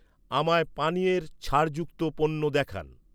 আমায় পানীয়ের ছাড় যুক্ত পণ্য দেখান